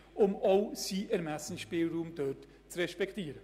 Dies auch, um seinen Ermessensspielraum zu respektieren.